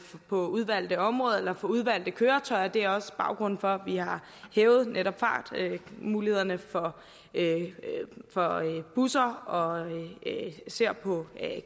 på udvalgte områder eller for udvalgte køretøjer og det er også baggrunden for at vi har hævet netop fartmulighederne for busser og især